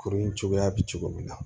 Kurun in cogoya bɛ cogo min na